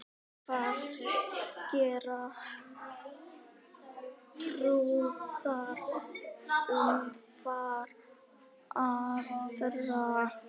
Hvað gera trúaðir umfram aðra?